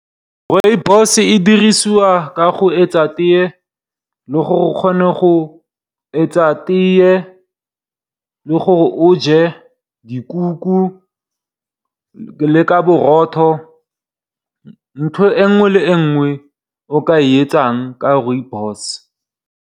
Rooibos e dirisiwa ka go etsa tee le gore o je dikuku, le ka borotho, ntho e nngwe le e nngwe o ka e etsang ka Rooibos.